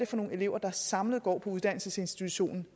for nogle elever der samlet går uddannelsesinstitutionen